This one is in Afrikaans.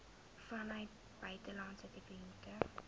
vanuit buitelandse dividende